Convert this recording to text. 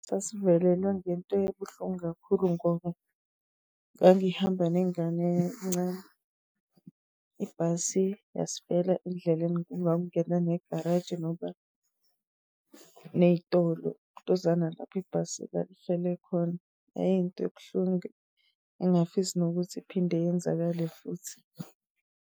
Sasivelelwe ngento ebuhlungu kakhulu, ngoba ngangihamba nengane encane. Ibhasi yasifela endleleni engangena negaraji, ngoba neyitolo lontuzana lapho ibhasi lali hleli khona. Kwakuyinto ebuhlungu, engingafisi nokuthi iphinde yenzakale futhi.